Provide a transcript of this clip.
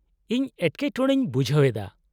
-ᱤᱧ ᱮᱴᱠᱮᱴᱚᱬᱮᱧ ᱵᱩᱡᱦᱟᱹᱣ ᱮᱫᱟ ᱾